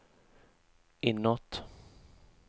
inåt